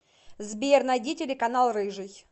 сбер найди телеканал рыжий